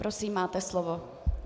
Prosím, máte slovo.